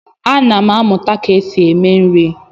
Ana m amụta ka esi eme nri.